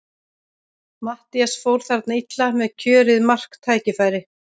Matthías fór þarna illa með kjörið marktækifæri.